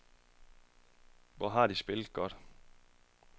Hvor har de spillet godt.